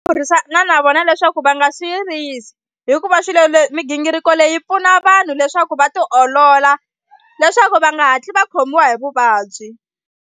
Burisana na vona leswaku va nga swi yirisi hikuva swilo leswi migingiriko leyi pfuna vanhu leswaku va tiolola leswaku va nga hatli va khomiwa hi vuvabyi.